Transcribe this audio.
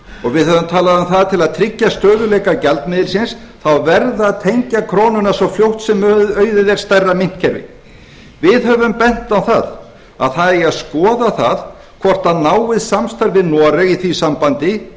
og við höfum talað um það að til að tryggja stöðugleika gjaldmiðilsins verði að tengja krónuna svo fljótt sem auðið er stærra myntkerfi við höfum bent á að það eigi að skoða það hvort náið samstarf við noreg í því sambandi